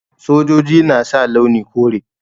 Sojoji na sa launi kore.